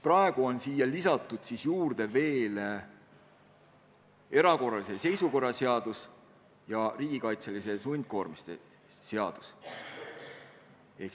Praegu on siia lisatud veel erakorralise seisukorra seadus ja riigikaitseliste sundkoormiste seadus.